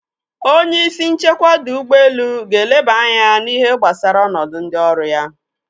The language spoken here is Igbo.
Onye isi nchekwa ọdọ ụgbọelu ga-elaba anya n'ihe gbasara ọnọdụ ndị ọrụ ya.